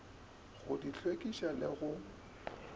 go di hlwekiša le go